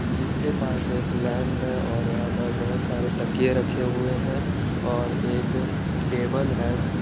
जिसके पास एक लैम्प है और यहाँ पर बहुत सारे तकिये रखे हुए हैं और एक टेबल है।